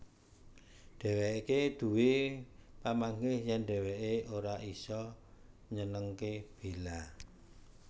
Dhéwéké duwé pamanggih yèn dhéwéké ora isa nyenengké Bella